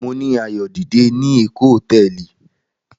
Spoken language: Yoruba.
Mo ni ayo dide ni Eko hotẹẹli